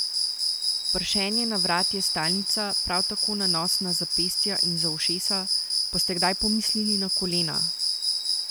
Pršenje na vrat je stalnica, prav tako nanos na zapestja in za ušesa, pa ste kdaj pomislili na kolena?